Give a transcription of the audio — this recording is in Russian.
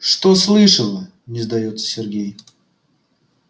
что слышала не сдаётся сергей